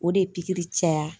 O de ye pikiri caya